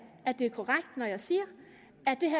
at det er korrekt når jeg siger